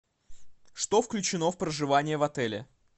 что включено в проживание в отеле